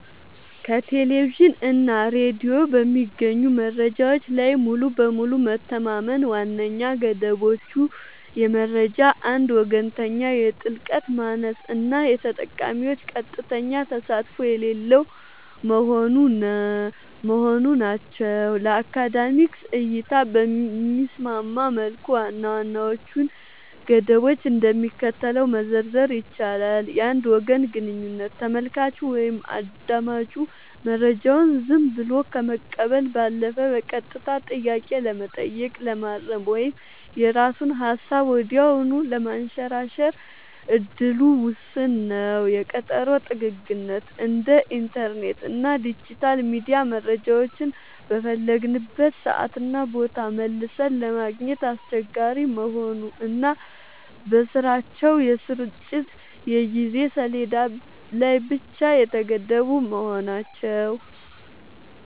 ከቴሌቪዥን እና ሬዲዮ በሚገኙ መረጃዎች ላይ ሙሉ በሙሉ መተማመን ዋነኛ ገደቦቹ የመረጃ አንድ ወገንተኝነት፣ የጥልቀት ማነስ እና የተጠቃሚዎች ቀጥተኛ ተሳትፎ የሌለው መሆኑ ናቸው። ለአካዳሚክ እይታ በሚስማማ መልኩ ዋና ዋናዎቹን ገደቦች እንደሚከተለው መዘርዘር ይቻላል፦ የአንድ ወገን ግንኙነት : ተመልካቹ ወይም አዳማጩ መረጃውን ዝም ብሎ ከመቀበል ባለፈ በቀጥታ ጥያቄ ለመጠየቅ፣ ለማረም ወይም የራሱን ሃሳብ ወዲያውኑ ለማንሸራሸር እድሉ ውስን ነው። የቀጠሮ ጥግግት : እንደ ኢንተርኔት እና ዲጂታል ሚዲያ መረጃዎችን በፈለግንበት ሰዓትና ቦታ መልሰን ለማግኘት አስቸጋሪ መሆኑ እና በራሳቸው የስርጭት የጊዜ ሰሌዳ ላይ ብቻ የተገደቡ መሆናቸው።